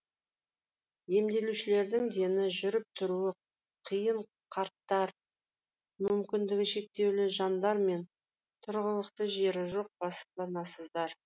емделушілердің дені жүріп тұруы қиын қарттар мүмкіндігі шектеулі жандар мен тұрғылықты жері жоқ баспанасыздар